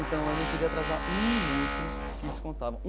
Então, eu não podia atrasar um minuto que descontava.